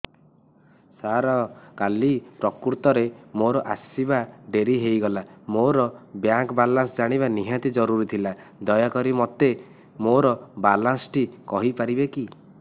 ସାର କାଲି ପ୍ରକୃତରେ ମୋର ଆସିବା ଡେରି ହେଇଗଲା ମୋର ବ୍ୟାଙ୍କ ବାଲାନ୍ସ ଜାଣିବା ନିହାତି ଜରୁରୀ ଥିଲା ଦୟାକରି ମୋତେ ମୋର ବାଲାନ୍ସ ଟି କହିପାରିବେକି